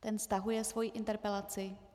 Ten stahuje svoji interpelaci.